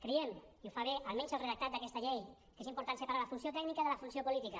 creiem i ho fa bé almenys el redactat d’aquesta llei que és important separar la funció tècnica de la funció política